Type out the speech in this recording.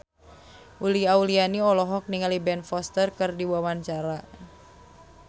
Uli Auliani olohok ningali Ben Foster keur diwawancara